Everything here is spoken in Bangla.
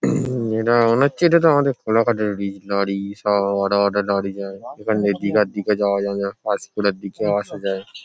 এটা মনে হচ্ছে এটাতো আমাদের কোলাঘাট -এর লরি লরি সব বড় বড় লরি যায়। এখান দিয়ে দীঘার দিকে যাওয়া যায় যেমন পাঁশকুড়ার দিকেও আসা যায় ।